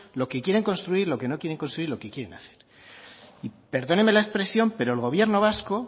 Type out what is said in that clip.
lo que quieren construir lo que no quieren construir lo que quieren hacer perdóneme la expresión pero el gobierno vasco